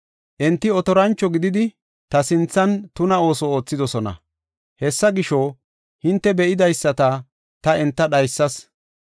Enti otorancho gididi, ta sinthan tuna ooso oothidosona. Hessa gisho, hinte be7idaysata ta enta dhaysas.